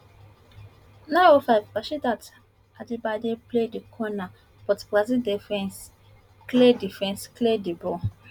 nine oh five rasheedat ajibade play di corner but brazil defence clear defence clear di ball